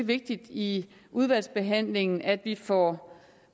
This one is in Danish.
vigtigt i udvalgsbehandlingen at vi får